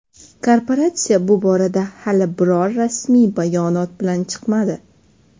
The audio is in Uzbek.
Korporatsiya bu borada hali biror rasmiy bayonot bilan chiqmadi.